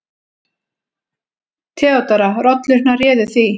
THEODÓRA: Rollurnar réðu því.